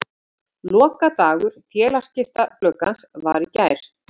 Lokadagur félagaskiptagluggans var í gær.